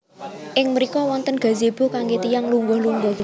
Ing mriko wonten gazebo kangge tiyang lungguh lungguh